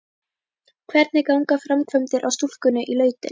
Hvernig ganga framkvæmdir á stúkunni í Lautinni?